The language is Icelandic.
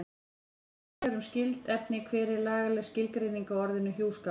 Gagnlegir tenglar um skyld efni Hver er lagaleg skilgreining á orðinu hjúskapur?